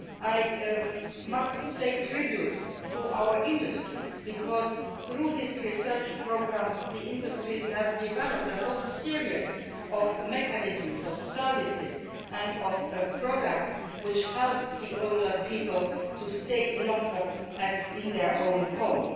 I must pay tribute to our industries because, through these research programmes, the industries have developed a whole series of mechanisms, services and products which help older people to stay longer in their own homes.